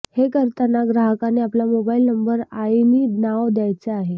हे करताना ग्राहकाने आपला मोबाईल नंबर आईणि नाव द्यायचे आहे